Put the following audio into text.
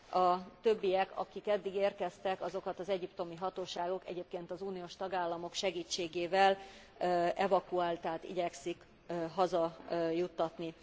A többiek, akik eddig érkeztek, azokat az egyiptomi hatóságok, egyébként az Uniós tagállamok segítségével, evakuálják, tehát igyekeznek haza juttatni.